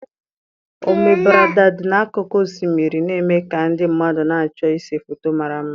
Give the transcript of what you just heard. Ọmbereda dị n'akụkụ osimiri na-eme ka ndị mmadụ na-achọ ịse foto mara mma.